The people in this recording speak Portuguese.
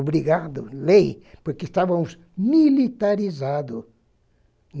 Obrigado, lei, porque estávamos militarizado.